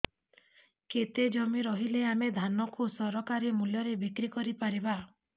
କେତେ ଜମି ରହିଲେ ଆମେ ଧାନ କୁ ସରକାରୀ ମୂଲ୍ଯରେ ବିକ୍ରି କରିପାରିବା